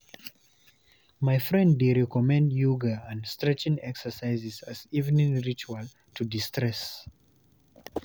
My friend dey recommend yoga and stretching exercises as evening ritual to de-stress.